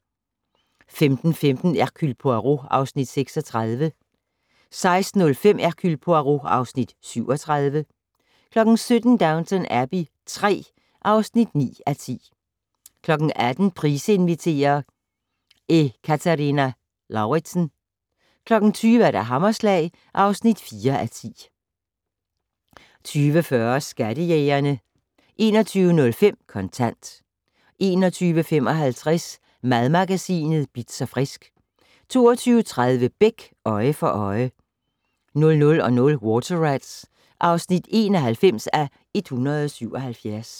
15:15: Hercule Poirot (Afs. 36) 16:05: Hercule Poirot (Afs. 37) 17:00: Downton Abbey III (9:10) 18:00: Price inviterer - Ekaterina Lauritsen 20:00: Hammerslag (4:10) 20:40: Skattejægerne 21:05: Kontant 21:55: Madmagasinet Bitz & Frisk 22:30: Beck: Øje for øje 00:00: Water Rats (91:177)